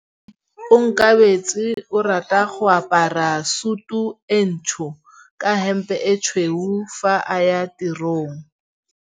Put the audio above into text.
Onkabetse o rata go apara sutu e ntsho ka hempe e tshweu fa a ya tirong.